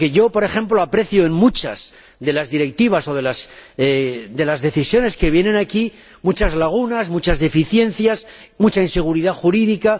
Por ejemplo, aprecio, en muchas de las directivas o decisiones que vienen aquí, muchas lagunas, muchas deficiencias, mucha inseguridad jurídica.